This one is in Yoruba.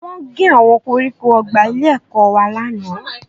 Wọ́n gé àwọn koríko ọgbà ilé-ẹ̀kọ́ wa lánàá